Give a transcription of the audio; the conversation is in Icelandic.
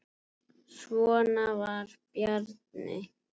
Svona var Bjarni.